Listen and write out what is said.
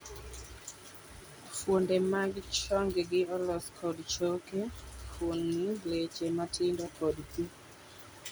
Fwonde mag chongi olos kod choke, fuoni, leche matindo kod pi